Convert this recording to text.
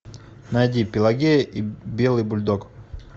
найди пелагея и белый бульдог